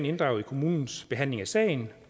inddraget i kommunens behandling af sagen